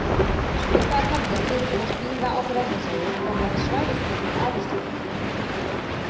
Svipaðar hefðir fyrirfinnast víða á Bretlandseyjum, þó með svæðisbundnum áherslum.